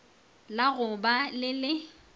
la go ba le le